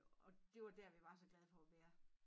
Og det var dér vi var så glade for at være